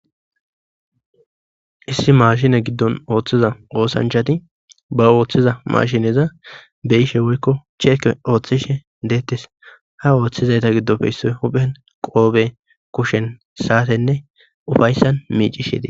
issi maashine giddon ooththiza oosanchati ba ooththiza mashineza beyishe woykko cheeke ooththishe deettes ha ooththizayta giddofeyssoy huphen qoobe kushen saatenne ufayssan miicishete